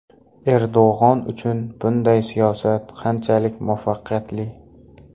Erdo‘g‘on uchun bunday siyosat qanchalik muvaffaqiyatli?